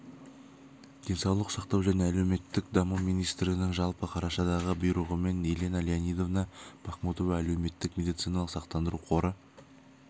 денсаулық сақтау және әлеуметтік даму министрінің жылғы қарашадағы бұйрығымен елена леонидовна бахмутова әлеуметтік медициналық сақтандыру қоры